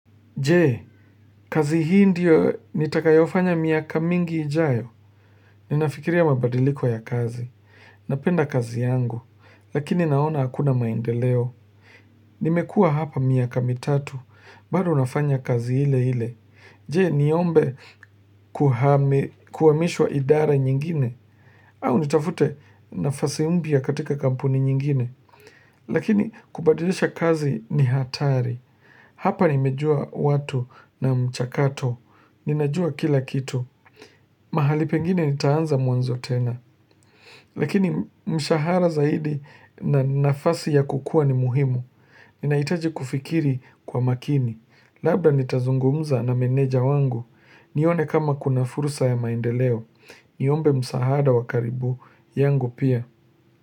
Jee, kazi hii ndio nitakayofanya miaka mingi ijayo. Ninafikiria mabadiliko ya kazi. Napenda kazi yangu, lakini naona hakuna maendeleo. Nimekua hapa miaka mitatu, bado nafanya kazi ile ile Jee, niombe kuhamishwa idara nyingine, au nitafute nafasi mpya katika kampuni nyingine. Lakini, kubadilisha kazi ni hatari. Hapa nimejua watu na mchakato, ninajua kila kitu, mahali pengine nitaanza mwanzo tena Lakini mshahara zaidi na nafasi ya kukua ni muhimu, ninaitaji kufikiri kwa makini Labda nitazungumza na meneja wangu, nione kama kuna fursa ya maendeleo, niombe msaada wakaribu yangu pia.